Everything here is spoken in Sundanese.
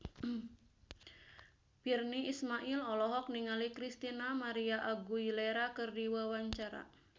Virnie Ismail olohok ningali Christina María Aguilera keur diwawancara